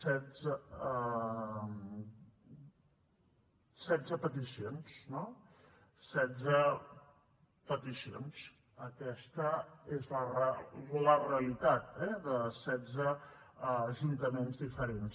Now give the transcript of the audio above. setze peticions no setze peticions aquesta és la realitat de setze ajuntaments diferents